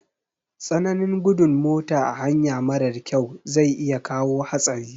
Tsananin gudun mota a hanya marar kyau za iya kawo hatsari